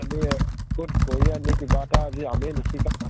কʼত কৰি আদি কিবা এটা আজি আমি নিশিকাওঁ